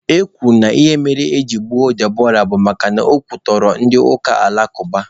E kwuru na ihe mere eji gbuo Deborah bụ makana o kwutọrọ ndị ụka alakụba.